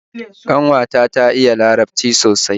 Kanwata ta iya larabci sosai